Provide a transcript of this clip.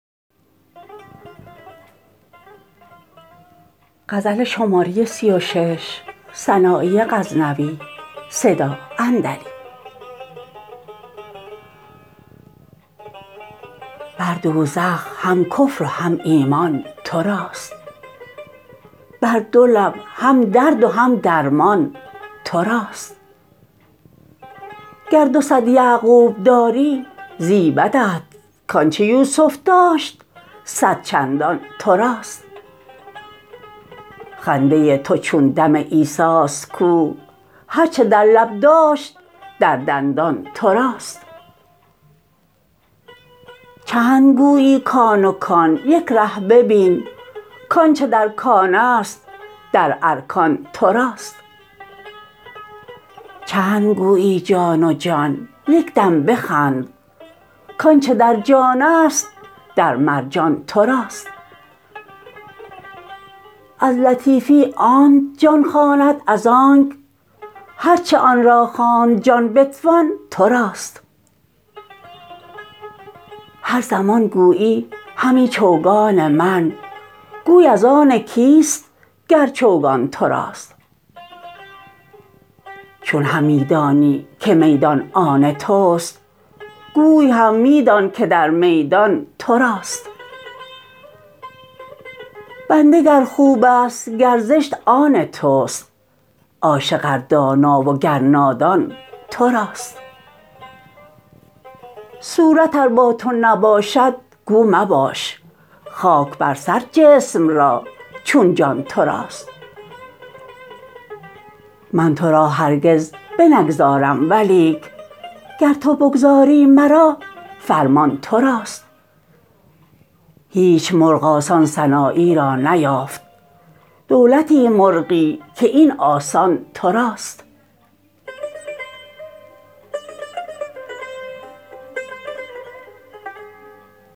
بر دوزخ هم کفر و هم ایمان تراست بر دو لب هم درد و هم درمان تراست گر دو صد یعقوب داری زیبدت کانچه یوسف داشت صد چندان تراست خنده تو چون دم عیساست کو هر چه در لب داشت در دندان تراست چند گویی کان و کان یک ره ببین کانچه در کانست در ارکان تراست چند گویی جان و جان یک دم بخند کانچه در جانست در مرجان تراست از لطیفی آنت جان خواند از آنک هر چه آنرا خواند جان بتوان تراست هر زمان گویی همی چوگان من گوی از آن کیست گر چوگان تراست چون همی دانی که میدان آن تست گوی هم می دان که در میدان تراست بنده گر خوبست گر زشت آن تست عاشق ار دانا و گر نادان تراست صورت ار با تو نباشد گو مباش خاک بر سر جسم را چون جان تراست من ترا هرگز بنگذارم ولیک گر تو بگذاری مرا فرمان تراست هیچ مرغ آسان سنایی را نیافت دولت مرغی که این آسان تراست